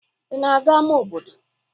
Ị na-aga ámá obodo?